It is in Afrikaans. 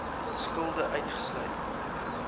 skulde uitgesluit